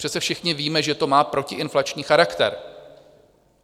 Přece všichni víme, že to má protiinflační charakter.